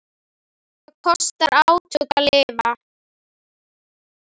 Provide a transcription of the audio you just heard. Það kostar átök að lifa.